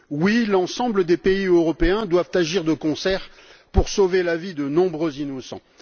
Oui, l'ensemble des pays européens doivent agir de concert pour sauver la vie de nombreux innocents.